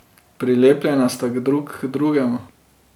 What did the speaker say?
Prilepljena sta drug k drugemu.